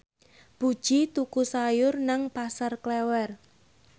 Puji tuku sayur nang Pasar Klewer